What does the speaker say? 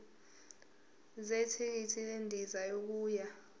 zethikithi lendiza yokuya